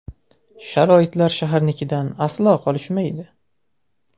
Sharoitlar shaharnikidan aslo qolishmaydi.